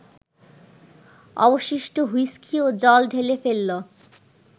অবশিষ্ট হুইস্কি ও জল ঢেলে ফেলল